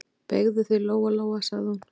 Beygðu þig, Lóa-Lóa, sagði hún.